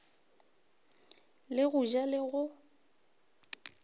le go ja le go